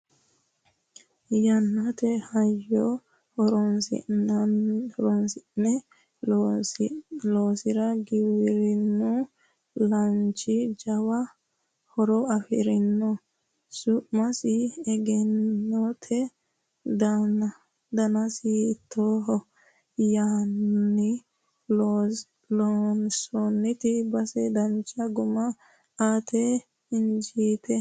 yannate hayyo horosni'ne loonsiro giwirinnu laachi jawa horo afirino su'masi egennootto? danasi hiittooho yinanni? loonsoonnisiti base dancha guma aate injiitinote?